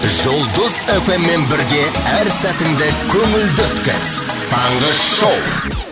жұлдыз эф эм мен бірге әр сәтіңді көңілді өткіз таңғы шоу